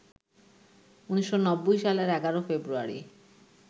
১৯৯০ সালের ১১ ফেব্রুয়ারি